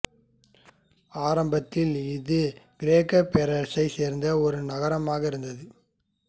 ஆரம்பத்தில் இது கிரேக்கப் பேரரசை சேர்ந்த ஒரு நகரமாக இருந்தது